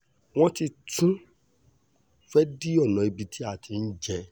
wọ́n ti tún fẹ́ẹ́ dí ọ̀nà ibi tí a ti ń jẹ